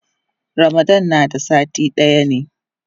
Ramadan na da sati daya ne.